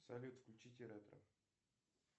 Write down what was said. салют включите ретро